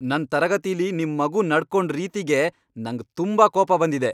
ನನ್ ತರಗತಿಲಿ ನಿಮ್ ಮಗು ನಡ್ಕೊಂಡ್ ರೀತಿಗೆ ನಂಗ್ ತುಂಬಾ ಕೋಪ ಬಂದಿದೆ!